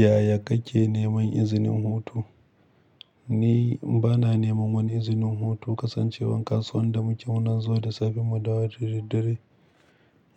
Yaya kake neman izinin hutu? Ni bana neman wani izinin hutu, kasancewar kasuwan da muke muna zuwa da safe mu dawo da daddare